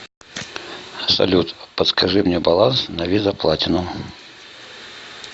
салют подскажи мне баланс на виза платинум